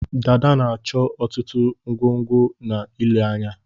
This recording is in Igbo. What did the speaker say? Dada na-achọ ọtụtụ ọgwụgwọ na ile anya